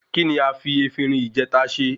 Kí ni a fi efinrin ìjèta se?